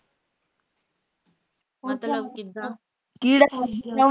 ਮਤਲਬ ਕਿਦਾਂ